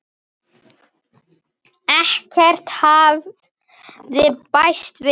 Ekkert hafði bæst við.